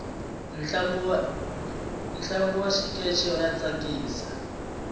ntlangu wa xikeche wa tsakisa